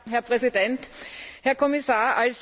Herr Präsident, Herr Kommissar!